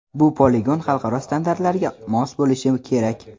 Bu poligon xalqaro standartlarga mos bo‘lishi kerak.